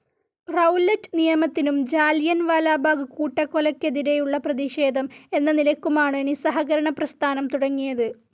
Rowlatt നിയമത്തിനും Jallianwala Bagh കൂട്ടക്കൊലയ്‌ക്കെതിരെയുള്ള പ്രതിഷേധം എന്ന നിലയ്ക്കുമാണ് നിസഹകരണ പ്രസ്ഥാനം തുടങ്ങിയത്.